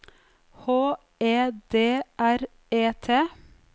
H E D R E T